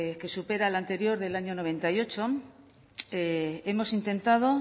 que supera al anterior del año noventa y ocho hemos intentado